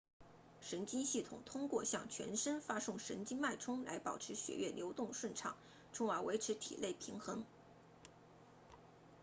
神经系统通过向全身发送神经脉冲来保持血液流动顺畅从而维持体内平衡